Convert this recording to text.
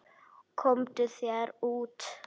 Komdu þér út.